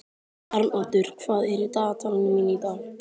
Arnoddur, hvað er í dagatalinu mínu í dag?